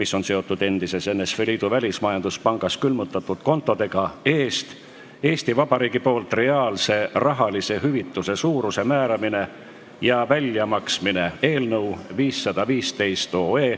mis on seotud endises NSV Liidu Välismajanduspangas külmutatud kontodega, eest Eesti Vabariigi poolt reaalse rahalise hüvitise suuruse määramine ja väljamaksmine" eelnõu .